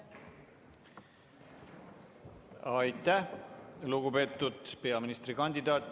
Aitäh, lugupeetud peaministrikandidaat!